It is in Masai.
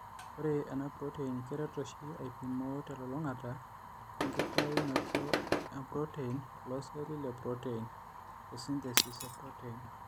Ore enapurotein keret oshi aipimoo telulung'ata enkitainoto oompurotein tooceelli lepurotein (esynthesis epurotein).